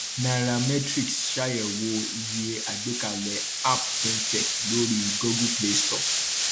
cs] nairametrics ṣàyẹwò iye àgbàkalẹ app fintech lórí google play store